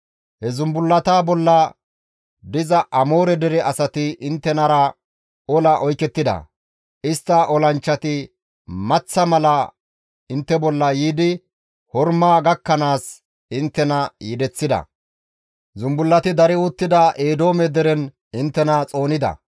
He zumbullata bolla diza Amoore dere asati inttenara ola oykettida; istta olanchchati maththa mala intte bolla yiidi Horma gakkanaas inttena yedeththida; zumbullati dari uttida Eedoome deren inttena xoonida.